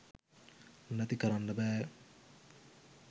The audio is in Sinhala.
නැති කරන්න බෑ